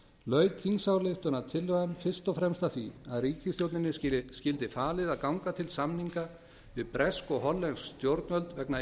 laut þingsályktunartillagan fyrst og fremst að því að ríkisstjórninni skyldi falið að ganga til samninga við bresk og hollensk stjórnvöld vegna